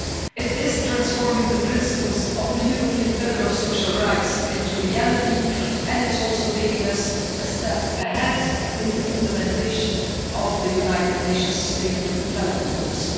It is transforming the principles of the European pillar of social rights into reality and it's also taking us a step ahead in the implementation of the United Nations Sustainable Development Goals.